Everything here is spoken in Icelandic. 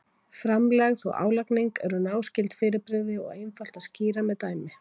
Framlegð og álagning eru náskyld fyrirbrigði og einfalt að skýra með dæmi.